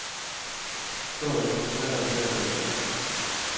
Toget er konstrueret til at køre stærkt.